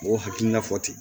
Mɔgɔw hakilina fɔ ten